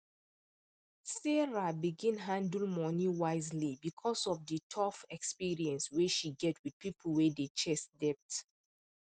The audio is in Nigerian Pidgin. sarah begin handle money wisely because of the tough experience wey she get with people wey dey chase debt